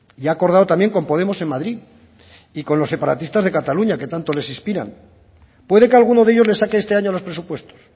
y ha acordado también con podemos en madrid y con los separatistas de cataluña que tanto les inspiran puede que alguno de ellos les saque este año los presupuestos